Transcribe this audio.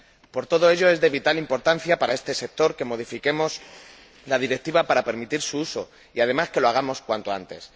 Por todo ello es de vital importancia para este sector que modifiquemos la Directiva para permitir su uso y, además, que lo hagamos cuanto antes.